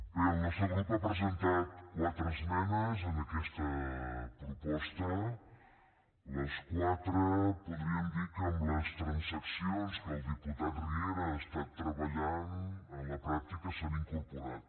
bé el nostre grup ha presentat quatre esmenes en aquesta proposta les quatre podríem dir que amb les transaccions que el diputat riera ha estat treballant en la pràctica s’han incorporat